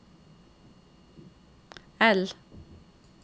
L